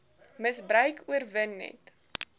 misbruik oorwin net